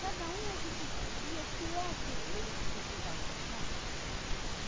Cada um a gente via o que é que eles precisavam, sabe?